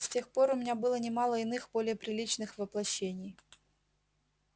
с тех пор у меня было немало иных более приличных воплощений